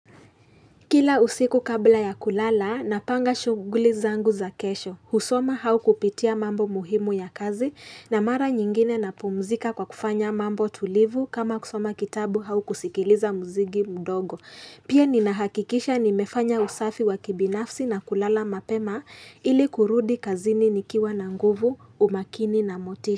Kila usiku kabla ya kulala na panga shughuli zangu za kesho. Husoma hau kupitia mambo muhimu ya kazi na mara nyingine na pumzika kwa kufanya mambo tulivu kama kusoma kitabu hau kusikiliza muziki mdogo. Pia ninahakikisha nimefanya usafi wa kibinafsi na kulala mapema ili kurudi kazini nikiwa na nguvu, umakini na motisha.